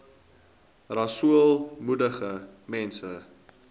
rasool moedig mense